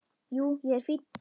Jú, ég er fínn.